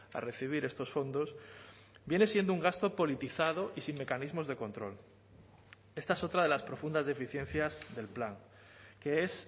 a recibir estos fondos viene siendo un gasto politizado y sin mecanismos de control esta es otra de las profundas deficiencias del plan que es